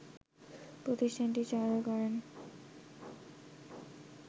প্রতিষ্ঠানটি চালু করেন